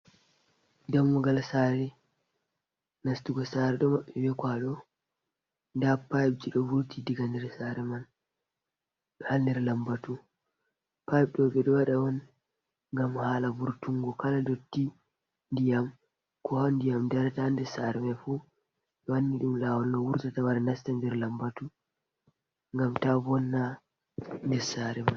Dammugal saare, nastugo saare ɗo maɓɓi bee kwaado, nda Pipji ɗo vurti diga nder saare man ɗo haa nder lambatu, paip ɗo ɓe ɗo waɗa on ngam haala vurtunngo kala dotti ndiyam koo haa ndiyam darata haa nder saare may fuu, ɓe wanni ɗum laawol no wurta wara nastan nder lambatu, ngam taa vonna nder saare man.